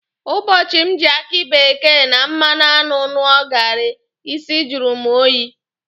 Ụbọchị m ji aki bekee na mmanụ aṅụ ṅụọ gaarị, isi jụrụ mụ oyi.